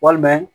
Walima